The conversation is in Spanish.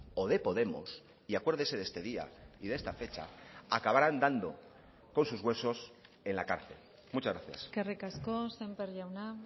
o de podemos y acuérdese de este día y de esta fecha acabarán dando con sus huesos en la cárcel muchas gracias eskerrik asko sémper jauna